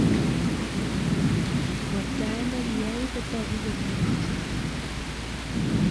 ng'wektaet nekiyai kotoku kole yachen